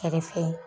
Kɛrɛfɛ